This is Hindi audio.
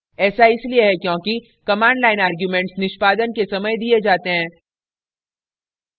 ऐसा इसलिए है क्योंकि command line arguments निष्पादन के समय दिए जाते हैं